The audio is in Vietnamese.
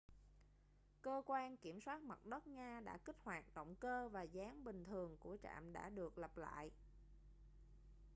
cơ quan kiểm soát mặt đất nga đã kích hoạt động cơ và dáng bình thường của trạm đã được lập lại